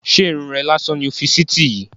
Ṣé Irun rè lásán ni o fi síítì yìí?